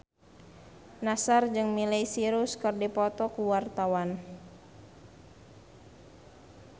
Nassar jeung Miley Cyrus keur dipoto ku wartawan